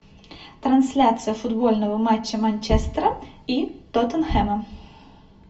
трансляция футбольного матча манчестера и тоттенхэма